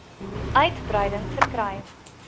uitbreiding verkry